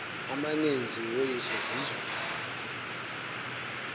amaninzi woyiswa zizo